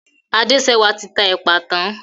Adéṣẹwà ti ta èpà tán.